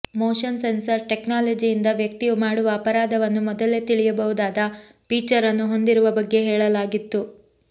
motion sensor ಟೆಕ್ನಾಲಜಿಯಿಂದ ವ್ಯಕ್ತಿಯು ಮಾಡುವ ಅಪರಾಧವನ್ನು ಮೊದಲೇ ತಿಳಿಯಬಹುದಾದ ಫೀಚರ್ ಅನ್ನು ಹೊಂದಿರುವ ಬಗ್ಗೆ ಹೇಳಲಾಗಿತ್ತು